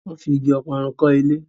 wón fí ìgi Ọparun kò ilé.